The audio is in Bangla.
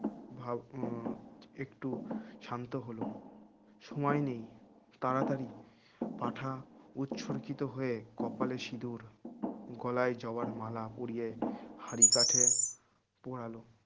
ভাও উহ একটু শান্ত হল সময় নেই তাড়াতাড়ি পাঠা উৎসরিত হয়ে কপালে সিন্দুর গলায় জবার মালা পরিয়ে হাঁড়ি কাটে পরালো